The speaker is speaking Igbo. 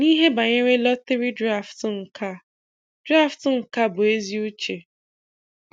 N'ihe banyere lọtịrị drafụtụ nke a drafụtụ nke a bụ ezi uche.